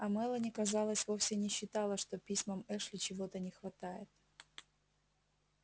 а мелани казалось вовсе не считала что письмам эшли чего-то не хватает